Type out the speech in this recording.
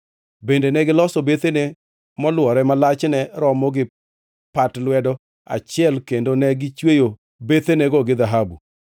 Bende negiloso bethene molwore ma lachne romo gi pat lwedo achiel kendo ne gichweyo bethenego gi dhahabu.